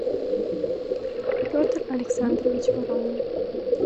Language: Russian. петр александрович воронин